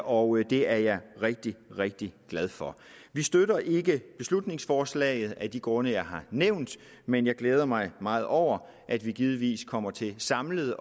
og det er jeg rigtig rigtig glad for vi støtter ikke beslutningsforslaget af de grunde jeg har nævnt men jeg glæder mig meget over at vi givetvis kommer til samlet